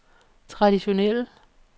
traditionelle